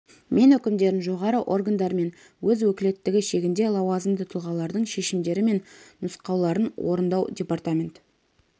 мен өкімдерін жоғары органдар мен өз өкілеттігі шегінде лауазымды тұлғалардың шешімдері мен нұсқауларын орындау департамент